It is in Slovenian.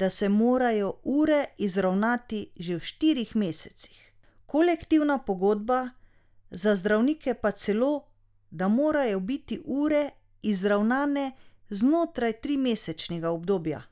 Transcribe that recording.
da se morajo ure izravnati že v štirih mesecih, kolektivna pogodba za zdravnike pa celo, da morajo biti ure izravnane znotraj trimesečnega obdobja.